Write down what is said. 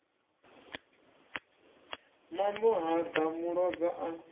mambo ha ḓa muloza a